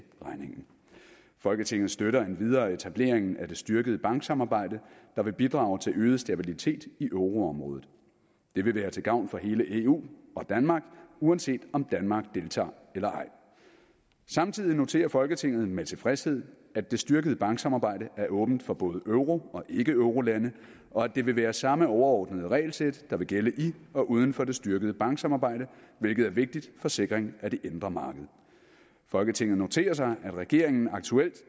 regningen folketinget støtter endvidere etableringen af det styrkede banksamarbejde der vil bidrage til øget stabilitet i euroområdet det vil være til gavn for hele eu og danmark uanset om danmark deltager eller ej samtidig noterer folketinget med tilfredshed at det styrkede banksamarbejde er åbent for både euro og ikke eurolande og at det vil være samme overordnede regelsæt der vil gælde i og uden for det styrkede banksamarbejde hvilket er vigtigt for sikring af det indre marked folketinget noterer sig at regeringen aktuelt